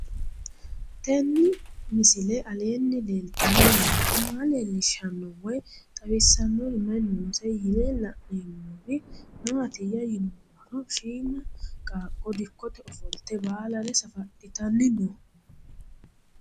Tenni misile aleenni leelittanni nootti maa leelishshanno woy xawisannori may noosse yinne la'neemmori maattiya yinummoro shiimma qaaqqo dikkotte ofolitte baalare safadhittanni noo